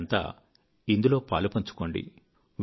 మీరంతా ఇందులో పాలుపంచుకోండి